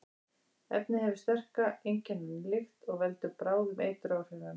Efnið hefur sterka, einkennandi lykt og veldur bráðum eituráhrifum.